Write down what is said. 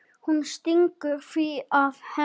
Hún stingur því að Herði